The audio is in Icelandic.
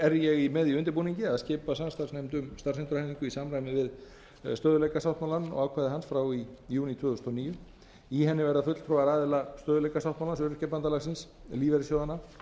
er ég með í undirbúningi að skipa samstarfsnefnd um starfsendurhæfingu í samræmi við stöðugleikasáttmálans og ákvæði hans frá í júní tvö þúsund og níu í henni verða fulltrúar aðila stöðugleikasáttmálans öryrkjabandalagsins lífeyrissjóðanna